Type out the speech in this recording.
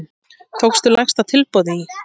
Tóku lægsta tilboði í.